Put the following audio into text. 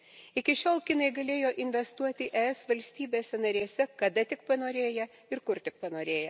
Iki šiol kinai galėjo investuoti ES valstybėse narėse kada tik panorėję ir kur tik panorėję.